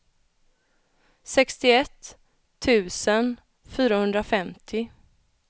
sextioett tusen fyrahundrafemtio